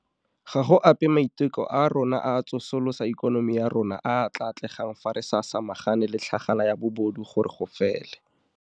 Ga go ape a maiteko a rona a go tsosolosa ikonomi ya rona a a tla atlegang fa re sa samagane le tlhagala ya bobodu gore go fele.